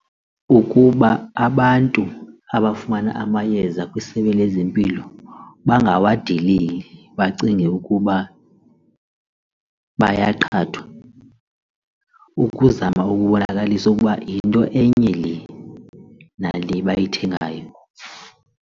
Ukuba abantu abafumana amayeza kwisebe lezempilo bangawadeleli bacinge ukuba bayaqhathwa ukuzama ukubonakalisa ukuba yinto enye le nale bayithengayo.